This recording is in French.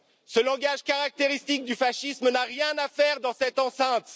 Ce langage, caractéristique du fascisme, n'a rien à faire dans cette enceinte.